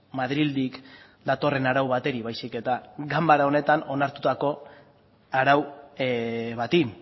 madrildik datorren arau bateri baizik eta ganbara honetan onartutako arau bati